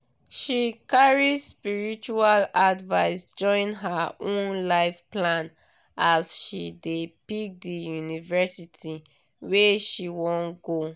she carry spiritual advice join her own life plan as she dey pick di university wey she wan go